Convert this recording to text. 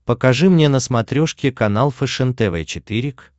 покажи мне на смотрешке канал фэшен тв четыре к